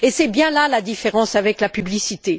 Et c'est bien là la différence avec la publicité.